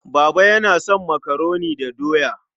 Baba yana son makaroni da doya.